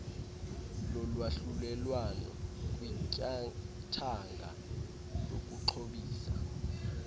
lolwahlulelwano kwityathanga lokuxhobisa